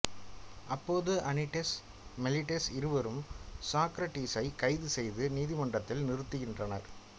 அப்போது Anytus Meletus இருவரும் சாக்ரடீஸை கைது செய்து நீதிமன்றத்தில் நிறுத்துகின்றனா்